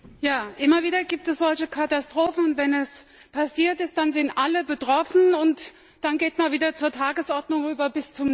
Herr Präsident! Immer wieder gibt es solche Katastrophen. Wenn es passiert ist, dann sind alle betroffen und dann geht man wieder zur Tagesordnung über.